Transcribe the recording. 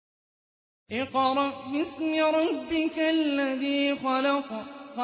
اقْرَأْ بِاسْمِ رَبِّكَ الَّذِي خَلَقَ